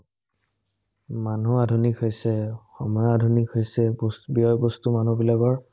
মানুহ আধুনিক হৈছে, সময় আধুনিক হৈছে, ব্যয়-বস্তু মানুহবিলাকৰ